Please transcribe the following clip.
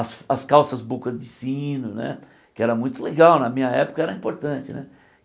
As as calças boca de sino, que era muito legal, na minha época era importante né.